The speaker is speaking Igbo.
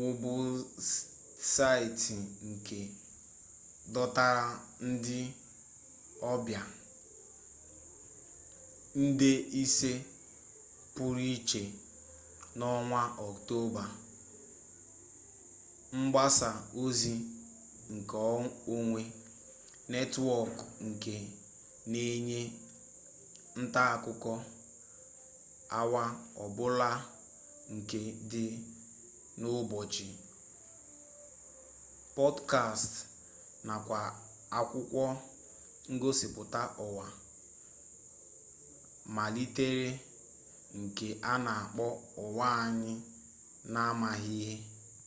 webụsaịtị nke dọtara ndị ọbịa nde ise pụrụ iche n'ọnwa ọktoba mgbasa ozi nke onwe netwọkụ nke na-enye ntaakụkọ awa ọbula nke dị n'ụbọchị pọdkastị nakwa akwụkwọ ngosipụta ụwa a malitere nke a na akpọ ụwa anyị n'amaghị ihe